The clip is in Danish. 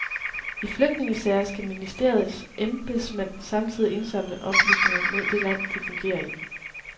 I flygtningesager skal ministeriets embedsmænd samtidig indsamle oplysninger mod det land, de fungerer i.